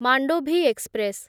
Mandovi express